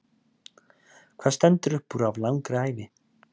Hvað stendur uppúr af langri ævi?